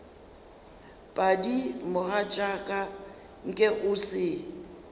padi mogatšaka nke o se